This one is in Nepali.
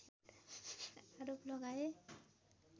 आरोप लगाए